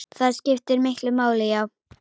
Það skiptir miklu máli, já.